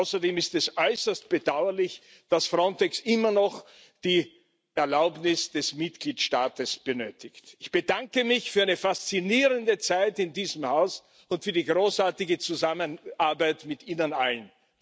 Außerdem ist es äußerst bedauerlich, dass Frontex immer noch die Erlaubnis des Mitgliedstaats benötigt. Ich bedanke mich für eine faszinierende Zeit in diesem Haus und für die großartige Zusammenarbeit mit Ihnen allen!